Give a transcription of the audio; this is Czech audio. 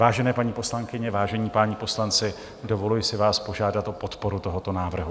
Vážené paní poslankyně, vážení páni poslanci, dovoluji si vás požádat o podporu tohoto návrhu.